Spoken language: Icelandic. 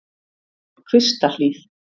Kvistahlíð